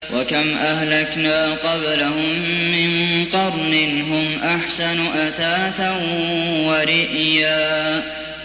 وَكَمْ أَهْلَكْنَا قَبْلَهُم مِّن قَرْنٍ هُمْ أَحْسَنُ أَثَاثًا وَرِئْيًا